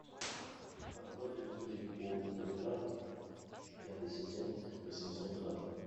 картофель фри полуфабрикат пятый сезон восемьсот грамм